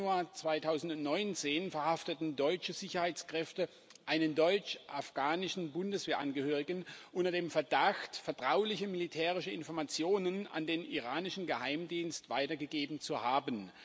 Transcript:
Im Januar 2019 verhafteten deutsche Sicherheitskräfte einen deutsch afghanischen Bundeswehrangehörigen unter dem Verdacht, vertrauliche militärische Informationen an den iranischen Geheimdienst weitergegeben zu haben.